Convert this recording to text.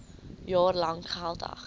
jaar lank geldig